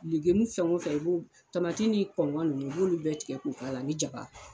san fɛn o fɛ i b'u tamati ni kɔnkɔn ninnu i b'olu bɛɛ tigɛ k'u k'a la ani jaba